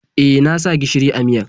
E, na sa gishiri a miyar.